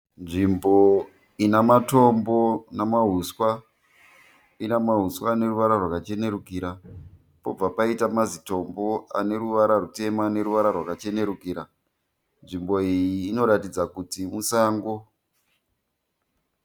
Nzvimbo inematombo namahuswa. Inemahuswa aneruvara rwakachenerukira pobva paita mazitombo aneruvara rwutema neruvara rwakachenerukira. Nzvimbo iyi inoratidza kuti musango.